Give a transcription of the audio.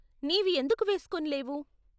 నీవి ఎందుకు వేస్కొని లేవు?